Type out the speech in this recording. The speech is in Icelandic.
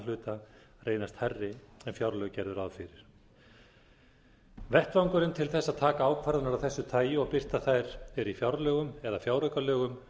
hluta reynast hærri en fjárlög gerðu ráð fyrir vettvangurinn til þess að taka ákvarðanir af þessu tagi og birta þær er í fjárlögum eða fjáraukalögum en